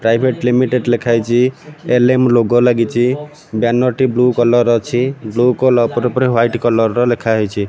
Private limited ଲେଖାହେଇଛି ଏଲ_ମ logo ଲାଗିଛି ବ୍ୟାନର ଟି ବ୍ଲୁ କଲର୍ ଅଛି ବ୍ଲୁ କଲର୍ ପରେ ପରେ ହ୍ୱାଇଟ କଲର୍ ର ଲେଖାହେଇଛି।